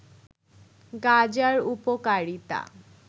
গাজার উপকারিতা